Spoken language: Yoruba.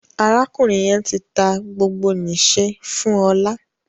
Arákùnrin yén tí tá gbogbo n'iṣẹ fún Ola